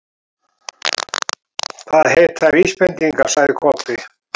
Það heita VÍSbendingar, sagði Kobbi.